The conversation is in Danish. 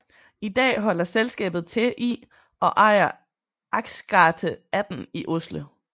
I dag holder selskabet til i og ejer Akersgata 18 i Oslo